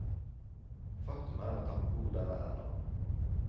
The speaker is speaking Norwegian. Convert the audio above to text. Faktum er at han bor der ennå.